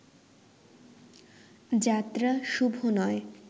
যাত্রা শুভ নয়